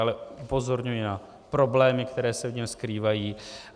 Ale upozorňuji na problémy, které se v něm skrývají.